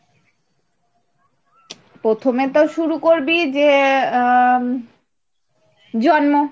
প্রথমে তো শুরু করবি যে আহ জন্ম,